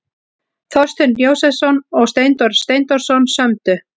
Þorsteinn Jósepsson og Steindór Steindórsson sömdu.